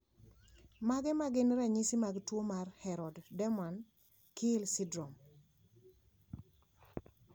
Mage magin ranyisi mag tuo mar Harrod Doman Keele syndrome?